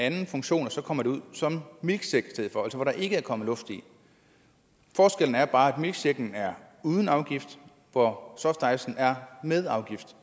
anden funktion og så kommer det ud som milkshake i stedet for altså hvor der ikke er kommet luft i forskellen er bare at milkshaken er uden afgift hvor softicen er med afgift